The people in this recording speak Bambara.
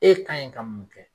E ka ɲi ka mun kɛ?